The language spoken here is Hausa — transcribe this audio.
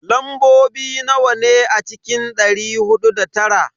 Lambobi nawa ne a cikin dari hudu da tara?